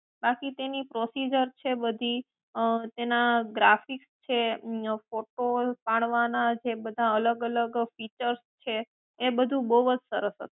આખી તેની પ્રોસીજર છે બધી અં તેના ગ્રાફિક્સ છે અં ફોટોસ પડવાના જે અલગ અલગ ફીચર્સ છે તે બધું બોવ જ સરસ હતું